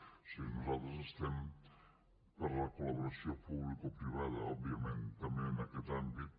o sigui nosaltres estem per la col·laboració publicoprivada òbviament també en aquest àmbit